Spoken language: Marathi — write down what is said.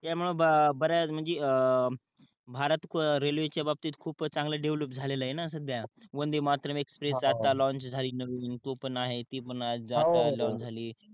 या मुळे ब बऱ्याच म्हणजे अं भारत रेलवे च्या बाबतीत खूपच चांगल डेव्हलप झालेलं आहे न सध्या वंदे मातरम् एक्सप्रेस आता लोंच झाली नवीन तो पण आहे ती पण आज लाँच झाली